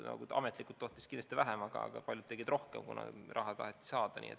No ametlikult tohtis kindlasti vähem, aga paljud tegid rohkem, kuna taheti raha saada.